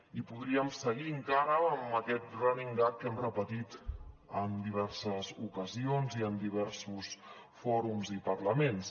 i podríem seguir encara amb aquest running gag que hem repetit en diverses ocasions i en diversos fòrums i parlaments